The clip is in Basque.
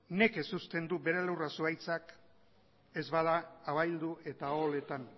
nekez uzten du bere lurra zuhaitzak ez bada abaildu eta oholetan